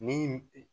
Ni